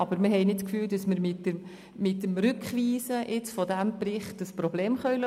Wir denken jedoch nicht, dass wir mittels Rückweisung dieses Berichts das Problem lösen.